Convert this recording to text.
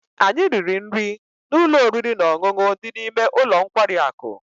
anyị riri nri na ụlọ oriri na ọṅụṅụ dị n'ime ụlọ nkwari akụ